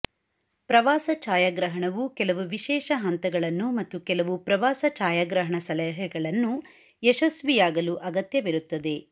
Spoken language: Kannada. ಪ್ರವಾಸ ಛಾಯಾಗ್ರಹಣವು ಕೆಲವು ವಿಶೇಷ ಹಂತಗಳನ್ನು ಮತ್ತು ಕೆಲವು ಪ್ರವಾಸ ಛಾಯಾಗ್ರಹಣ ಸಲಹೆಗಳನ್ನು ಯಶಸ್ವಿಯಾಗಲು ಅಗತ್ಯವಿರುತ್ತದೆ